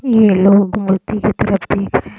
ये लोग की तरफ देख रहे हैं।